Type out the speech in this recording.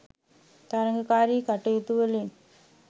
තරගකාරී කටයුතුවලින්